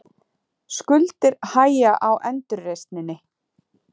Skuldir hægja á endurreisninni